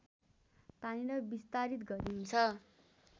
तानेर विस्तारित गरिन्छ